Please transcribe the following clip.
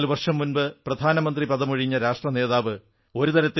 14 വർഷംമുമ്പ് പ്രധാനമന്ത്രിപദമൊഴിഞ്ഞ രാഷ്ട്രനേതാവ്